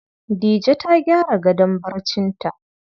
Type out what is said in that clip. Dije ta gyara gadon barcinta.